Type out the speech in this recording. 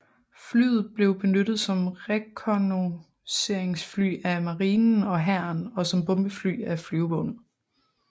Flyet blev benyttet som rekognosceringsfly af marinen og hæren og som bombefly af flyvevåbnet